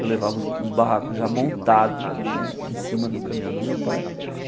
Eu levava os os barracos já montados né em cima do caminhão do meu pai.